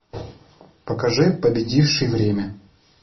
покажи победивший время